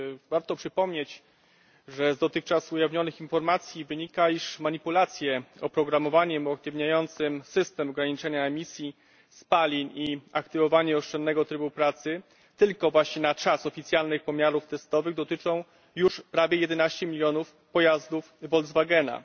Warto przypomnieć, że z dotychczas ujawnionych informacji wynika, iż manipulacje oprogramowaniem uaktywniającym system ograniczenia emisji spalin i aktywowanie oszczędnego trybu pracy tylko na czas oficjalnych pomiarów testowych dotyczą już prawie 11 mln pojazdów Volkswagena.